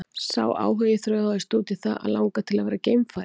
Sá áhugi þróaðist út í það að langa til að verða geimfari.